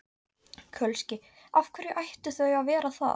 Kölski: Af hverju ættu þau að vera það?